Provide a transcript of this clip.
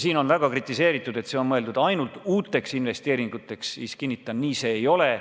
Siin on väga kritiseeritud, et see raha on mõeldud ainult uuteks investeeringuteks, aga ma kinnitan: nii see ei ole.